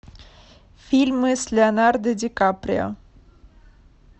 фильмы с леонардо ди каприо